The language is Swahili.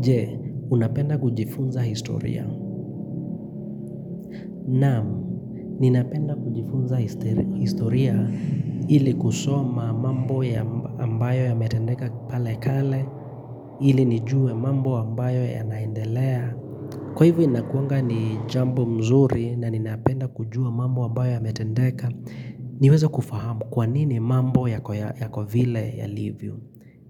Je, unapenda kujifunza historia. Namu, ninapenda kujifunza historia ili kusoma mambo ya ambayo yametendeka pale kale, ili nijue mambo ambayo ya naendelea. Kwa hivu inakuanga ni jambo mzuri na ninapenda kujua mambo ambayo ya metendeka, niweza kufahamu kwanini mambo ya kovile yalivyo.